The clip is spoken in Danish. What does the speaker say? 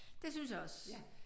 Det synes jeg også